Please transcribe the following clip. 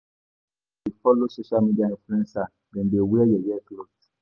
Na so dem dey follow social media influencer dem dey wear yeye clot.